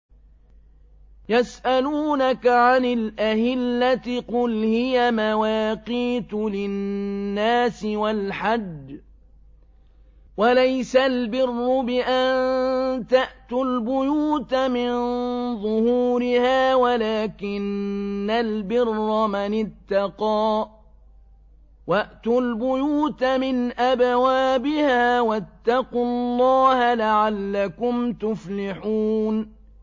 ۞ يَسْأَلُونَكَ عَنِ الْأَهِلَّةِ ۖ قُلْ هِيَ مَوَاقِيتُ لِلنَّاسِ وَالْحَجِّ ۗ وَلَيْسَ الْبِرُّ بِأَن تَأْتُوا الْبُيُوتَ مِن ظُهُورِهَا وَلَٰكِنَّ الْبِرَّ مَنِ اتَّقَىٰ ۗ وَأْتُوا الْبُيُوتَ مِنْ أَبْوَابِهَا ۚ وَاتَّقُوا اللَّهَ لَعَلَّكُمْ تُفْلِحُونَ